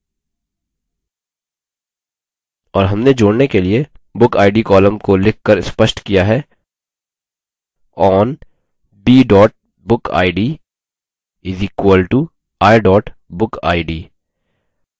और हमने जोड़ने के लिए bookid column को लिखकर स्पष्ट किया है: on b bookid = i bookid